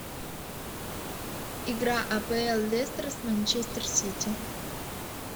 игра апл лестер с манчестер сити